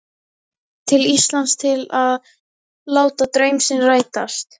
Nýfarinn til Íslands til að láta draum sinn rætast.